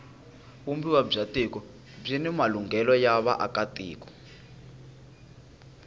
vumbiwa bya tiko byini malunghelo ya vaaka tiko